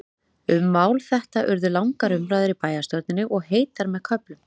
Um mál þetta urðu langar umræður í bæjarstjórninni, og heitar með köflum.